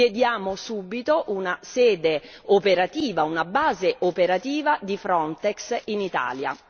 Chiediamo subito una sede operativa, una base operativa di Frontex in Italia.